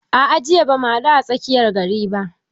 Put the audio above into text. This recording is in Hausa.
A'a jiya bamu haɗu a tsakiyar gari ba